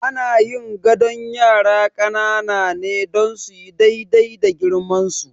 Ana yin gadon yara ƙanana ne don suyi daidai da girmansu.